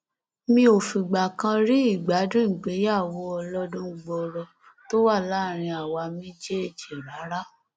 mi ò fìgbà kan rí ìgbádùn ìgbéyàwó ọlọdún gbọọrọ tó wà láàrin àwa méjèèjì rárá